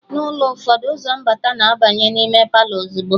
Na ulo ụfọdụ, ụzọ mbata na-abanye n'ime Palọ ozugbo